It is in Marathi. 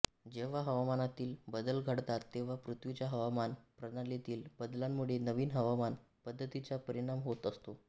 जेव्हा हवामानातील बदल घडतात तेव्हा पृथ्वीच्या हवामान प्रणालीतील बदलांमुळे नवीन हवामान पद्धतींचा परिणाम होत असतो